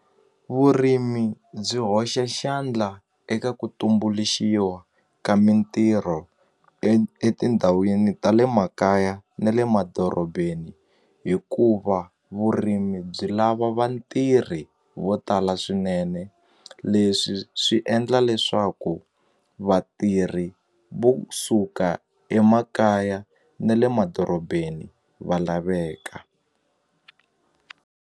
Vurimi byi hoxa xandla eka ku tumbuluxiwa ka mintirho etindhawini ta le makaya na le madorobeni hikuva vurimi byi lava vatirhi vo tala swinene leswi swi endla leswaku vatirhi vo suka emakaya na le madorobeni va laveka.